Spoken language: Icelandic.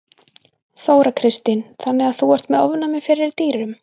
Þóra Kristín: Þannig að þú ert með ofnæmi fyrir dýrum?